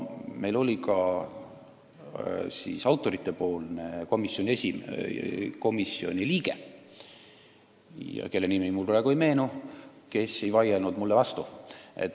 Meil oli kohal ka autoritepoolne komisjoni liige, kelle nimi mulle praegu ei meenu, ja kes ei vaielnud meile vastu.